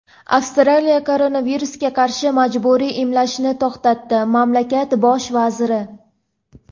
Avstriya koronavirusga qarshi majburiy emlashni to‘xtatdi — mamlakat Bosh vaziri.